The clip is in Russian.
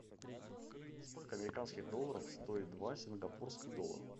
сколько американских долларов стоит два сингапурских доллара